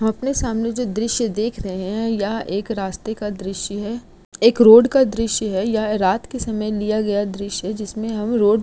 अपने सामने जो दृश्य देख रहे है यह एक रास्ते का दृश्य है। एक रोड का दृश्य है। यह रात के समय लिया गया दृश्य है जिसमे हम रोड --